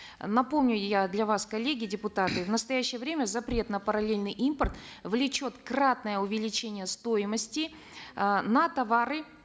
напомню я для вас коллеги депутаты в настоящее время запрет на параллельный импорт влечет кратное увеличение стоимости э на товары